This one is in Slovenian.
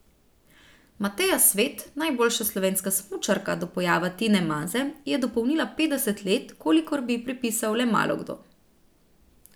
Mateja Svet, najboljša slovenska smučarka do pojava Tine Maze, je dopolnila petdeset let, kolikor bi ji pripisal le malokdo.